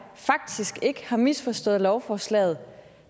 faktisk ikke har misforstået lovforslaget